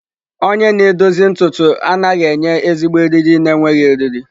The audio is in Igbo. Onye na-edozi ntutu anaghị enye ezigbo eriri na-enweghị eriri.